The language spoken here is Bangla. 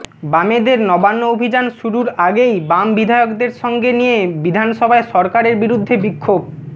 বামেদের নবান্ন অভিযান শুরুর আগেই বাম বিধায়কদের সঙ্গে নিয়ে বিধানসভায় সরকারের বিরুদ্ধে বিক্ষোভ